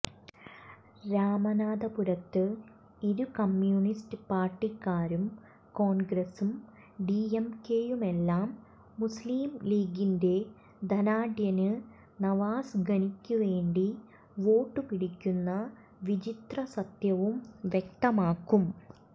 രാമനാഥപുരത്ത് ഇരു കമ്മ്യൂണിസ്റ്റ് പാര്ട്ടിക്കാരും കോണ്ഗ്രസും ഡിഎംകെയുമെല്ലാം മുസ്ലീംലീഗിന്റെ ധനാഢ്യന് നവാസ് ഗനിക്കുവേണ്ടി വോട്ടുപിടിക്കുന്ന വിചിത്രസത്യവും വ്യക്തമാകും